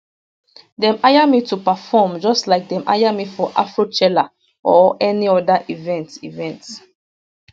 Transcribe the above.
dem hire me to preform just like dem hire me for afrochella or any oda event event